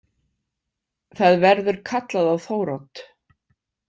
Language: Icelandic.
Það verður kallað á Þórodd.